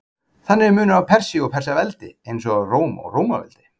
Þannig er munur á Persíu og Persaveldi, eins og á Róm og Rómaveldi.